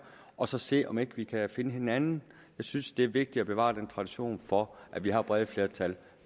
og så se om ikke vi kan finde hinanden jeg synes det er vigtigt at bevare den tradition for at vi har brede flertal